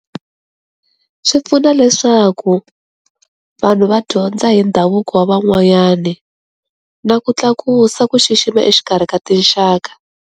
Swi pfuna leswaku vanhu va dyondza hi ndhavuko wa van'wanyana na ku tlakusa ku xixima exikarhi ka tinxaka.